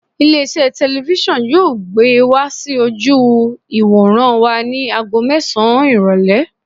Ilé iṣẹ́ telifísàn yóò gbé wá sí ojú ìwòran wa ni ago mẹ́sàn-án ìrọ̀lẹ́.